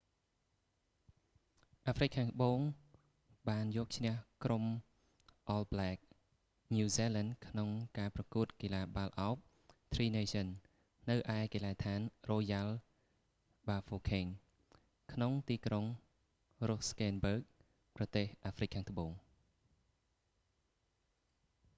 អាហ្រ្វិកខាងត្បូងបានយកឈ្នះក្រុមអលប្ល៊ែក all black ញូវហ្សេឡែន ក្នុងការប្រកួតកីឡាបាល់ឱប tri nations នៅឯកីឡដ្ឋានរ៉ូយ៉ាល់ បាហ្វូខេង royal bafokeng ក្នុងទីក្រុងរុសស្តេនបឺគ rustenburg ប្រទេសអាហ្វ្រិកខាងត្បូង